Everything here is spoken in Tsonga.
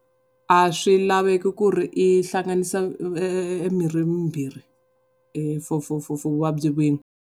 A swilaveko ku ri u hlanganisa mirhi mimbirhi for for for